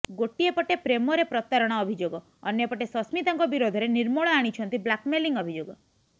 ଗୋଟିଏ ପଟେ ପ୍ରେମରେ ପ୍ରତାରଣା ଅଭିଯୋଗ ଅନ୍ୟପଟେ ସସ୍ମିତାଙ୍କ ବିରୋଧରେ ନିର୍ମଳ ଆଣିଛନ୍ତି ବ୍ଲାକମେଲିଂ ଅଭିଯୋଗ